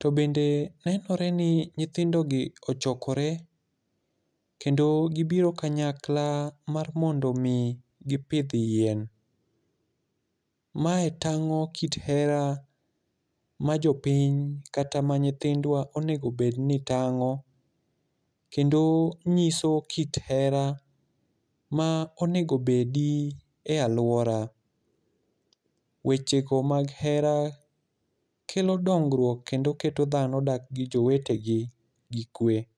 To bende nenore ni nyithindo gi ochokore kendo gibiro kanyakla mar mondo omi gipidh yien. Mae tang'o kit hera ma jopiny, kata ma nyithindwa onego bed ni tang'o, kendo nyiso kit hera ma onego obedi e alwora. Weche go mag hera kelo dongruok, kendo keto dhano dak gi jowetegi gi kwe.